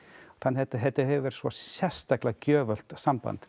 þannig að þetta hefur verið sérstaklega gjöfult samband